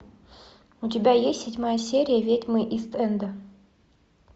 у тебя есть седьмая серия ведьмы ист энда